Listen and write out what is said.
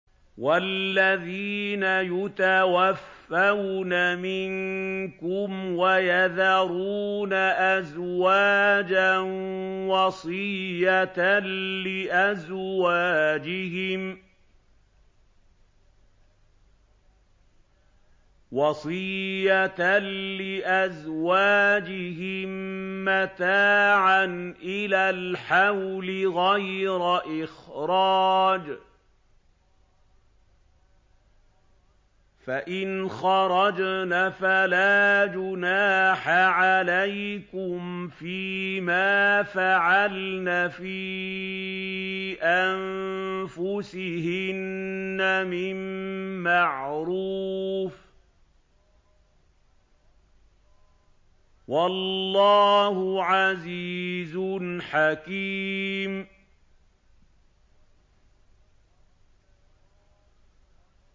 وَالَّذِينَ يُتَوَفَّوْنَ مِنكُمْ وَيَذَرُونَ أَزْوَاجًا وَصِيَّةً لِّأَزْوَاجِهِم مَّتَاعًا إِلَى الْحَوْلِ غَيْرَ إِخْرَاجٍ ۚ فَإِنْ خَرَجْنَ فَلَا جُنَاحَ عَلَيْكُمْ فِي مَا فَعَلْنَ فِي أَنفُسِهِنَّ مِن مَّعْرُوفٍ ۗ وَاللَّهُ عَزِيزٌ حَكِيمٌ